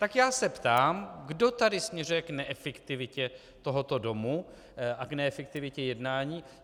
Tak já se ptám, kdo tady směřuje k neefektivitě tohoto domu a k neefektivitě jednání.